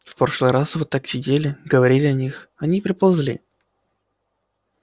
в прошлый раз вот так сидели говорили о них они и приползли